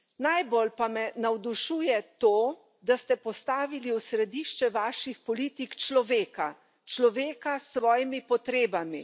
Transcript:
Najbolj pa me navdušuje to, da ste postavili v središče vaših politik človeka, človeka s svojimi potrebami.